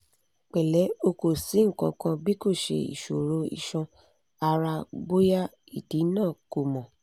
pẹlẹ o ko si nkankan bikoṣe iṣoro iṣan-ara boya idi naa ko mọ